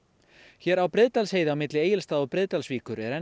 hér á Breiðdalsheiði á milli Egilsstaða og Breiðdalsvíkur er enn